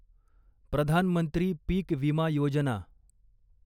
प्रधान मंत्री पीक विमा योजना